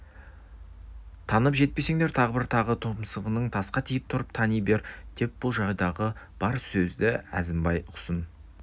танып жетпесеңдер тағы бар тағы тұмсығың тасқа тиіп тұрып тани бер деп бұл жайдағы бар сөзді әзімбай ұқсын